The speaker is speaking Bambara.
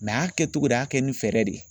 a kɛtogo de y'a kɛ ni fɛɛrɛ de ye.